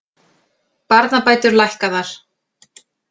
Barnabætur lækkaðar